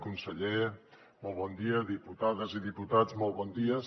conseller molt bon dia diputades i diputats molt bon dia